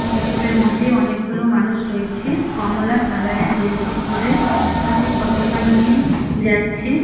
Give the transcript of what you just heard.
মধ্যে অনেকগুলো মানুষ রয়েছে কমলা কালারের গেঞ্জি পরে হাতে পতোকা নিয়ে যাচ্ছে।